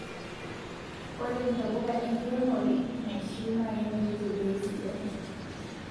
Ore ntapuka enkiremore naishiu na kemiri tebei sidai